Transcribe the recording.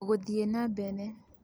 Gũthiĩ na mbere: